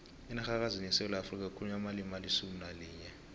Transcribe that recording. enarhakazini yesewula afrika kukhulunywa amalimi alisumu nalinye